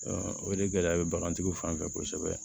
o de gɛlɛya bɛ bagantigiw fan fɛ kosɛbɛ